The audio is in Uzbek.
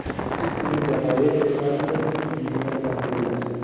Shu kuni Jazoir termasi Gvineya bilan bellashdi.